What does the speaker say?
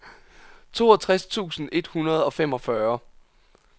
toogtres tusind et hundrede og femogfyrre